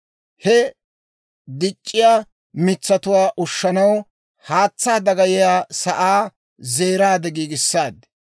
He dic'c'iyaa mitsatuwaa ushshanaw, haatsaa dagayiyaa sa'aa zeeraade giigissaaddi.